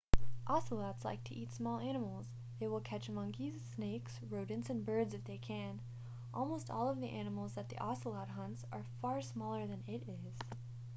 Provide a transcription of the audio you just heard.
ocelots like to eat small animals they will catch monkeys snakes rodents and birds if they can almost all of the animals that the ocelot hunts are far smaller than it is